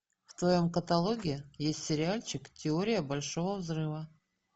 в твоем каталоге есть сериальчик теория большого взрыва